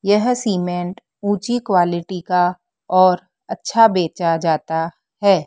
यह सीमेंट ऊंची क्वालिटी का और अच्छा बेचा जाता है।